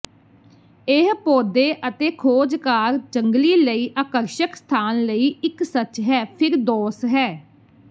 ਇਹ ਪੌਦੇ ਅਤੇ ਖੋਜਕਾਰ ਜੰਗਲੀ ਲਈ ਆਕਰਸ਼ਕ ਸਥਾਨ ਲਈ ਇੱਕ ਸੱਚ ਹੈ ਫਿਰਦੌਸ ਹੈ